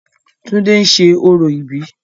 túndé ń ṣe orò ìbí